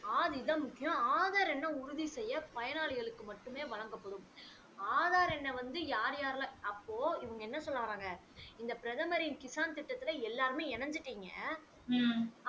முக்கியம் ஆதார் என்ன உறுதி செய்ய பயனாளிகலுக்கு மட்டுமே வழங்கப்படும் ஆதார் எண்ணை வந்து யார் யாரு அப்போ இவங்க என்ன சொல்ல வராங்க இந்த பிரதமரின் கிஷான் திட்டத்துல எல்லாருமே எனஞ்சிட்டிங்க